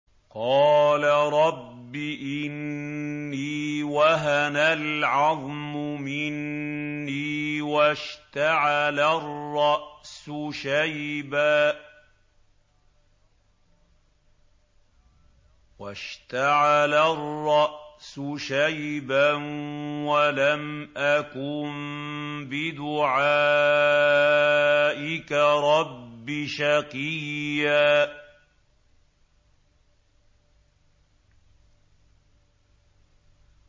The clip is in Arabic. قَالَ رَبِّ إِنِّي وَهَنَ الْعَظْمُ مِنِّي وَاشْتَعَلَ الرَّأْسُ شَيْبًا وَلَمْ أَكُن بِدُعَائِكَ رَبِّ شَقِيًّا